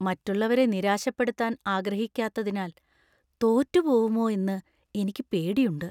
മറ്റുള്ളവരെ നിരാശപ്പെടുത്താൻ ആഗ്രഹിക്കാത്തതിനാൽ തോറ്റു പോവുമോ എന്ന് എനിക്ക് പേടിയുണ്ട്.